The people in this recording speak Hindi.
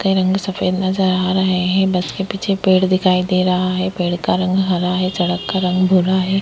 कहीं रंग सफेद नजर आ रहे हैं। बस के पीछे पेड़ दिखाई दे रहा है। पेड़ का रंग हरा है। सड़क का रंग भूरा है।